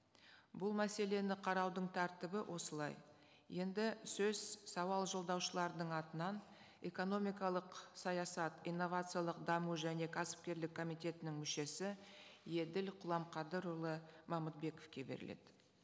бұл мәселені қараудың тәртібі осылай енді сөз сауал жолдаушылардың атынан экономикалық саясат инновациялық даму және кәсіпкерлік комитетінің мүшесі еділ құламқадырұлы мамытбековке беріледі